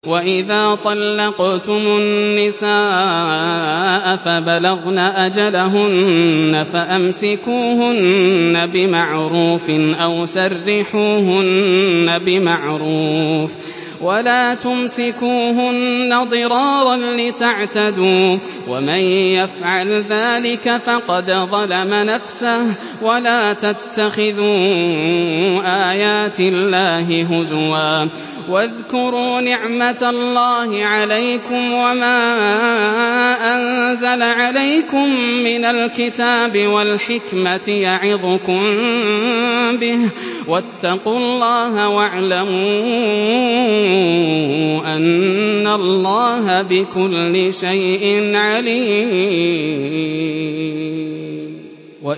وَإِذَا طَلَّقْتُمُ النِّسَاءَ فَبَلَغْنَ أَجَلَهُنَّ فَأَمْسِكُوهُنَّ بِمَعْرُوفٍ أَوْ سَرِّحُوهُنَّ بِمَعْرُوفٍ ۚ وَلَا تُمْسِكُوهُنَّ ضِرَارًا لِّتَعْتَدُوا ۚ وَمَن يَفْعَلْ ذَٰلِكَ فَقَدْ ظَلَمَ نَفْسَهُ ۚ وَلَا تَتَّخِذُوا آيَاتِ اللَّهِ هُزُوًا ۚ وَاذْكُرُوا نِعْمَتَ اللَّهِ عَلَيْكُمْ وَمَا أَنزَلَ عَلَيْكُم مِّنَ الْكِتَابِ وَالْحِكْمَةِ يَعِظُكُم بِهِ ۚ وَاتَّقُوا اللَّهَ وَاعْلَمُوا أَنَّ اللَّهَ بِكُلِّ شَيْءٍ عَلِيمٌ